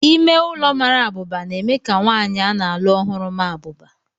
Ime ụlọ mara abụba na-eme ka nwanyị a na-alụ ọhụrụ maa abụba.